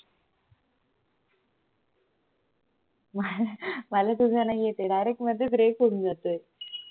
मला तुझा नाही येत ये direct मध्येच break होऊन जातोय हो हो हो i think तुला range नाहीये